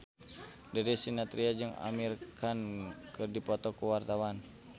Darius Sinathrya jeung Amir Khan keur dipoto ku wartawan